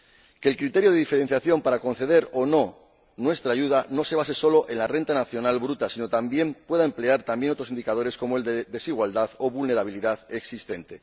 que el criterio de diferenciación para conceder o no nuestra ayuda no se base solo en la renta nacional bruta, sino que también pueda emplear otros indicadores, como el de desigualdad o vulnerabilidad existente.